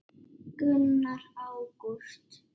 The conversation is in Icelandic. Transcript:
Gunnar: Ágúst?